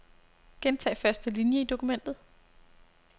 Gentag første linie i dokumentet.